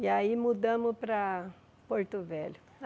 E aí mudamos para Porto Velho.